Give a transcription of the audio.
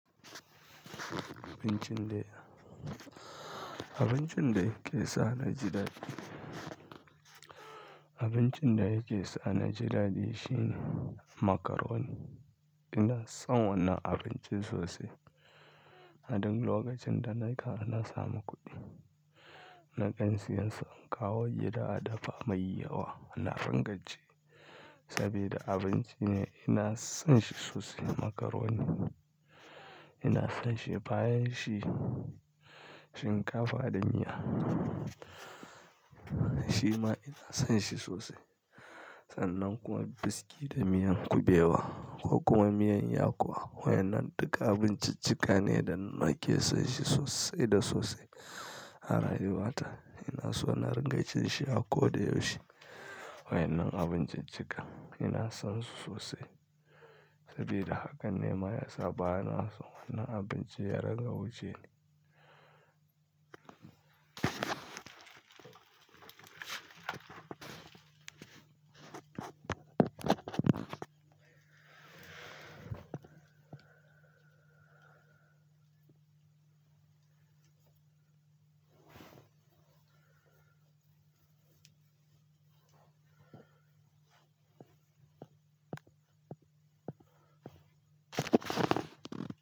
Abincin da, abincin da yake sa ni ji dadi, abincin da yake sa ni ji dadi shine macaroni. Ina son wannan abincin sosai. A duk lokacin da na ka na samu kuɗi, nakan siyan in kawo gida a dafa mai yawa. Anafin gaje, saboda abinci ne ina son shi sosai macaroni. Ina son shi bayan shi shinkafa da miya. Shima ina son shi sosai. Sannan kuwa biski da miyan kubewa ko kuwa miyan yakuwa. Wa'innan duka abinciccika ne da nake son shi sosai da sosai a rayuwata. Ina so na ringa cin shi a koda yaushe. Wa'inan abinciccika ina son su sosai, sabida haka ne ma ya sa bana son wannan abinci ya ringa wuce ni.